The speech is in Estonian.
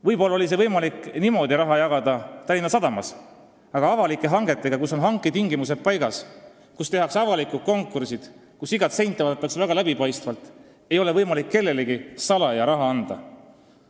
Võib-olla oli võimalik niimoodi raha jagada Tallinna Sadamas, aga avalikel hangetel, kui hanketingimused on paigas, tehakse avalik konkurss, iga sendi eraldamine on läbipaistev, seal ei ole võimalik kellelegi salaja raha anda.